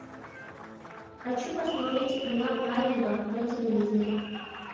хочу посмотреть канал аива на телевизоре